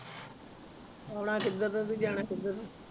ਆਉਣਾ ਕਿੱਧਰ ਨੂੰ ਤੇ ਜਾਣਾ ਕਿੱਧਰ ਨੂੰ